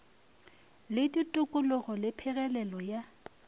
le ditokologo le phegelelo ya